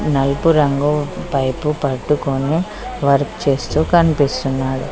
నలుపు రంగు పైపు పట్టుకొని వర్క్ చేస్తూ కనిపిస్తున్నాడు.